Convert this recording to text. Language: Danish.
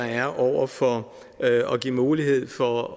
er over for at give mulighed for